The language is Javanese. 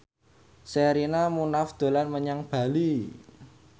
Sherina Munaf dolan menyang Bali